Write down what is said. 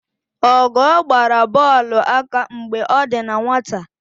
Ọgọọ gbara bọọlụ aka mgbe ọ dị na nwata.